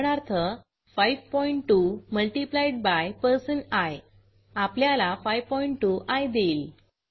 उदाहरणार्थ five point two multiplied by percent I आपल्याला 52आय देईल